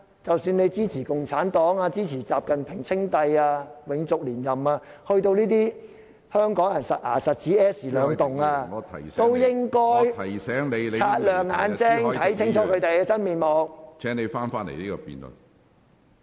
即使你支持共產黨、習近平稱帝、永續連任，在與香港人息息相關的金錢問題上，也應該擦亮眼睛，看清楚他們的真面目。